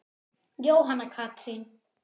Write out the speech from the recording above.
Jóhanna Katrín.